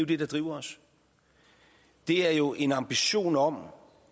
det der driver os det er jo en ambition om